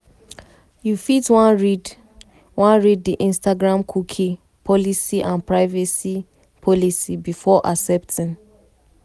you fit wan read wan read di instagramcookie policyandprivacy policybefore accepting.